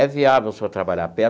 É viável o senhor trabalhar perto?